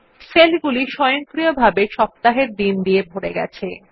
সেলগুলি স্বয়ংক্রিয়ভাবে সপ্তাহের দিন দিয়ে ভরে গেছে